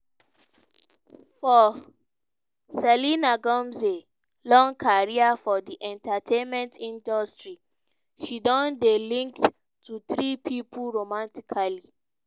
for selena gomez long career for di entertainment industry she don dey linked to three pipo romantically.